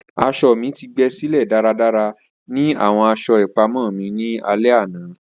Aso mi ti gbesile daradara ni awọn aṣọ ipamọ mi ni alẹ ana.